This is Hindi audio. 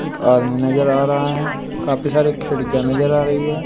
एक आदमी नजर आ रहा है काफी सारे खिड़कियां नजर आ रही है।